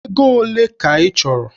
Ego ole ka ị chọrọ?